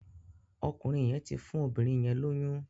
Ọkùnrin yén tí fún obìrin yén lóyún.